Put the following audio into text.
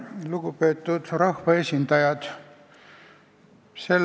Lugupeetud rahvaesindajad!